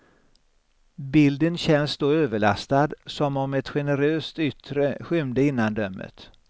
Bilden känns då överlastad, som om ett generöst yttre skymde innandömet.